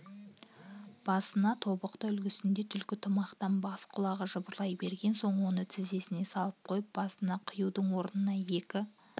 басына тобықты үлгісінде түлкі тымақтан бас құлағы жыбырлай берген соң оны тізесіне салып қойып басына киюдің орнына екі